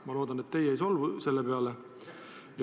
Ma loodan, et te ei solvu selle peale.